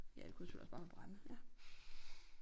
Ja det kunne selvfølgelig også bare være brænde ja